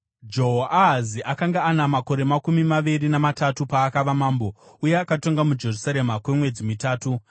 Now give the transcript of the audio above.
Jehoahazi akanga ana makore makumi maviri namatatu paakava mambo, uye akatonga muJerusarema kwemwedzi mitatu.